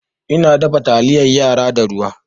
Ina dafa taliyar yara da ruwa